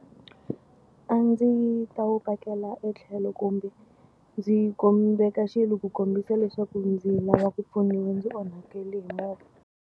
A ndzi ta wu pakela etlhelo kumbe ndzi ndzi veka xilo ku kombisa leswaku ndzi lava ku pfuniwa ndzi onhakele hi movha.